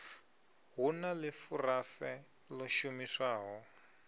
hu na ḽifurase ḽo shumiswaho